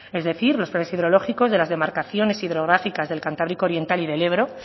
es decir los planes hidrológicos de las demarcaciones hidrográficas del cantábrico oriental y del ebro